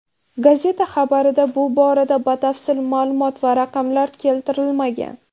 Gazeta xabarida bu borada batafsil ma’lumot va raqamlar keltirilmagan.